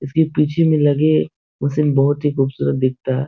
इसके पीछे में लगे वो सिन बहुत ही खूबसूरत दिखता --